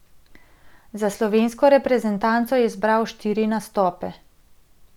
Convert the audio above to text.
Za slovensko reprezentanco je zbral štiri nastope.